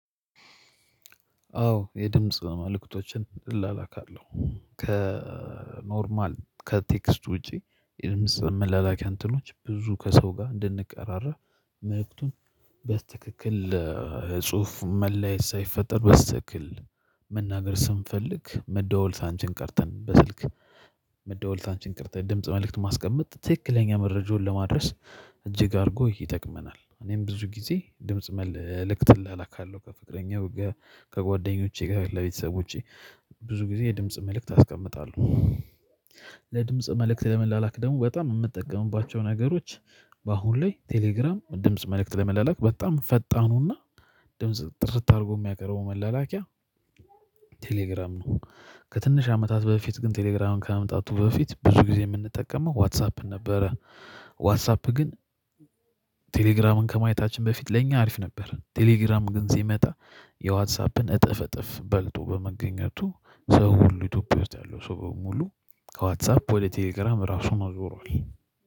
አዎ የድምጽ መልእክቶችን ውላካለው ከኖርማል ከቴክስት ውጪ የምስመላላኪያን ትኖች ብዙ ከሰው ጋር እንድንቀራረብ መልክቱን በትክክል ለ ጽሁፍ መለያ ሳይፈጠር በስተክል መናገር ስንፈልግ መደወል አንቺል ቀርተን በስልክ መደወልት አንቺል ቀርተን ድምጽ መልእክት ማስቀመጥ ትክክለኛ መረጃውን ለማድረስ እጅግ አድርጎ ይጠቅመናል። እኔም ብዙ ጊዜ ድምጽ መልእክትል አላካለሁ ከፍቅረኛው ከጓደኞቼ ጋር ለቤተሰብቼ ብዙ ጊዜ የድምጽ መልእክት አስቀምጣለሁ። ለድምጽ መልእክት ለመላላክ ደግሞ በጣም የምትጠቀሙባቸው ነገሮች። በአሁን ላይ ቴሌግራም ድምጽ መልእክት ለመላላክ በጣም ፈጣኑና ድምጽ ጥርጥር አድርጎ የሚያቀርበው መላላኪያ ቴሌግራም ነው። ከትንሽ አመታት በፊት ግን ቴሌግራምን ከመምጣቱ በፊት ብዙ ጊዜ የምንጠቀመው ዋትሳፕን ነበረ። ዋትሳፕ ግን ቴሌግራምን ከማየታችን በፊት ለእኛ አሪፍ ነበር። ቴሌግራም ግን ሲመጣ የዋትሳፕን እጥፍ እጥፍ በልጦ በመገኘቱ ሰው ሁሉ ኢትዮጵያ ውስጥ ያለው ሰው በሙሉ ከዋትሳፕ ወደ ቴሌግራም ራሱን አውሯል